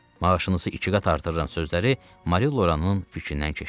Maaşınızı iki qat artırıram sözləri Mari Loranın fikrindən keçdi.